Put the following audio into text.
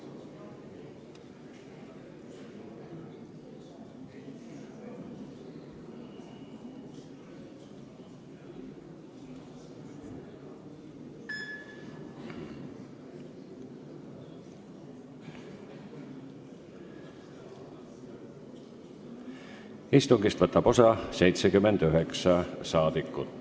Kohaloleku kontroll Istungist võtab osa 79 rahvasaadikut.